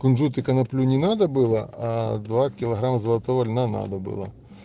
кунжут и коноплю не надо было аа два килограмма золотого льна надо было